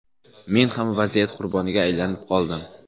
Men ham vaziyat qurboniga aylanib qoldim.